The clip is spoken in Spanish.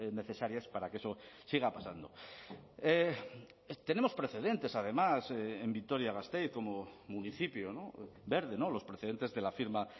necesarias para que eso siga pasando tenemos precedentes además en vitoria gasteiz como municipio verde los precedentes de la firma